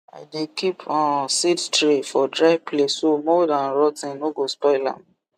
i dey keep um seed tray for dry place so mould and rot ten no go spoil am